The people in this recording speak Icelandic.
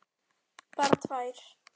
Bara tvær.